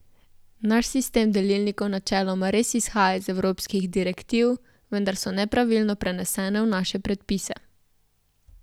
Naš sistem delilnikov načeloma res izhaja iz evropskih direktiv, vendar so nepravilno prenesene v naše predpise.